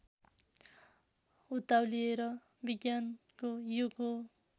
उत्ताउलिएर विज्ञानको युग हो